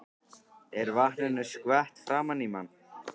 Er vatninu skvett framan í mann.